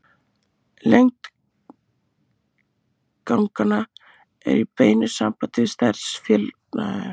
Lengd ganganna er í beinu sambandi við stærð félagshópsins og magn rótarávaxta á svæðinu.